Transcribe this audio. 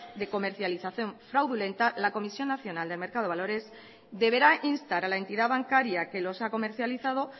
de comercialización fraudulenta la comisión nacional del mercado valores deberá instar a la entidad bancaria que los ha comercializado